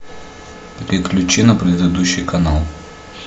переключи на предыдущий канал